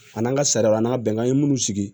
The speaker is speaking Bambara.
A n'an ka sariya n'a bɛnna an ye minnu sigi